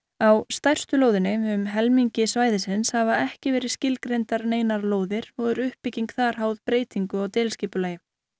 á stærstu lóðinni um helmingi svæðisins hafa ekki verið skilgreindar neinar lóðir og er uppbygging þar háð breytingu á deiliskipulagi